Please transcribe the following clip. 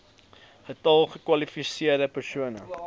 getal gekwalifiseerde persone